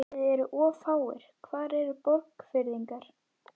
Þið eruð of fáir, hvar eru Borgfirðingarnir?